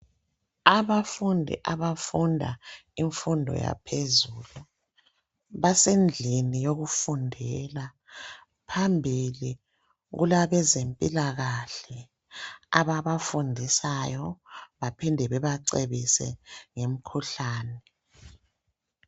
Abafundi abafunda imfundo yaphezulu basendlini yokufundela. Phambili kulabezempilakahle ababafundisayo baphinde bebacebise ngemkhuhlane.